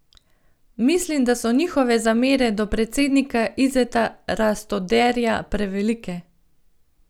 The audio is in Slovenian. Mislim, da so njihove zamere do predsednika Izeta Rastoderja prevelike.